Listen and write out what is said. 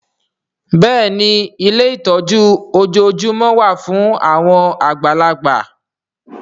Bẹ́ẹ̀ni ilé ìtọ́jú ojoojúmọ́ wà fún àwọn àgbàlagbà